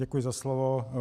Děkuji za slovo.